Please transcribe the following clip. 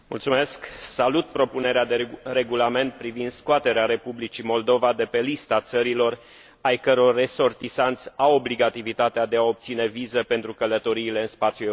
Salut propunerea de regulament privind scoaterea Republicii Moldova de pe lista țărilor ai căror resortisanți au obligativitatea de a obține vize pentru călătoriile în spațiul european.